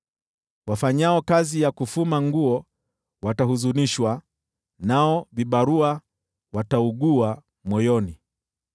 Wafanyao kazi ya kufuma nguo watahuzunishwa, nao vibarua wataugua moyoni.